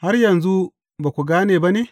Har yanzu ba ku gane ba ne?